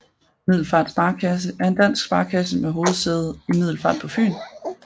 Middelfart Sparekasse er en dansk sparekasse med hovedsæde i Middelfart på Fyn